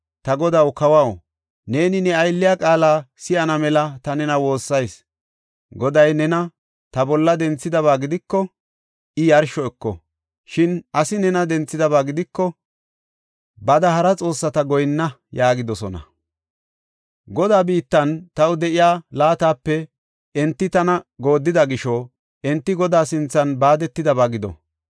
Ta godaw, kawaw, neeni ne aylliya qaala si7ana mela ta nena woossayis. Goday nena ta bolla denthidaba gidiko, I yarsho eko. Shin asi nena denthidaba gidiko, ‘Bada hara xoossata goyinna’ yaagidosona. Godaa biittan taw de7iya laatape enti tana gooddida gisho enti Godaa sinthan baadetidaba gido!